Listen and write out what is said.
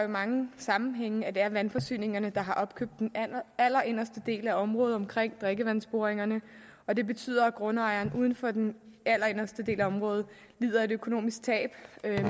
mange sammenhænge at det er vandforsyningerne der har opkøbt den allerinderste del af området omkring drikkevandsboringerne og det betyder at grundejeren uden for den allerinderste del af området lider et økonomisk tab